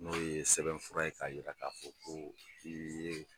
N'o ye sɛbɛnfura ye k'a yira k'a fɔ ko i ye